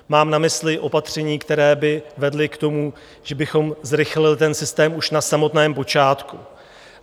Mám na mysli opatření, která by vedla k tomu, že bychom zrychlili ten systém už na samotném počátku.